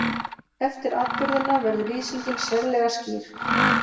Eftir atburðina verður lýsingin sérlega skýr.